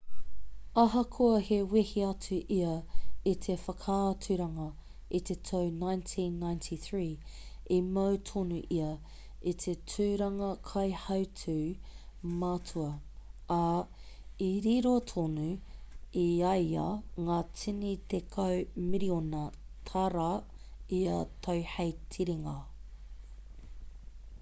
ahakoa i wehe atu ia i te whakaaturanga i te tau 1993 i mau tonu ia i te tūranga kaihautū matua ā i riro tonu i a ia ngā tini tekau miriona tāra ia tau hei tiringa